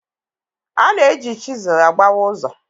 A na-eji chisel agbawa ụzọ.